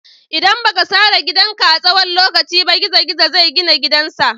ldan ba ka sare gidan ka a tsawon lokaci ba, gizo-gizo zai gina gidan sa.